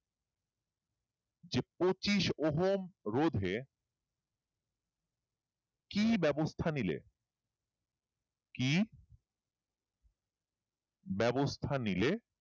যে পচি ওহম রোধে কি ব্যবস্থা নিলে কি ব্যবস্থা নিলে